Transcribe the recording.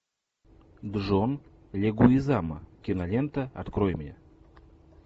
джон легуизамо кинолента открой мне